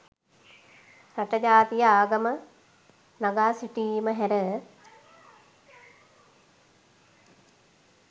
රට ජාතිය ආගම නගා සිටුවීම හැර